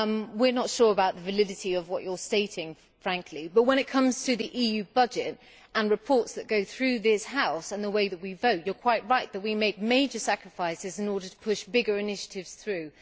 We are not sure about the validity of what you are stating, frankly, but when it comes to the EU budget and reports that go through this House and the way that we vote, you are quite right that we make major sacrifices in order to push bigger initiatives through.